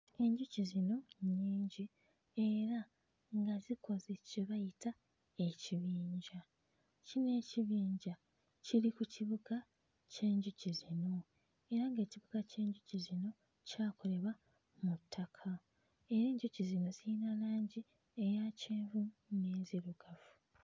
Enjuki zino nnyingi era nga zikoze kye bayita ekibinja kino ekibinja kiri ku kibuka ky'enjuki zino era ng'ekibuka ky'enjuki zino kyakolebwa mu ttaka era enjuki zino ziyina langi eya kyenvu n'enzirugavu.